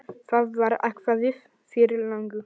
Það var ákveðið fyrir löngu.